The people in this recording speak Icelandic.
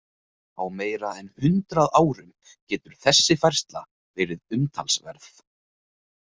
Á meira en hundrað árum getur þessi færsla verið umtalsverð.